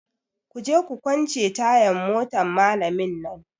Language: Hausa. Kuje ku kwance tayan motan malamin nan!